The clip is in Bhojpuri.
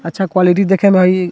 अच्छा क्वालिटी देखे म हय इ --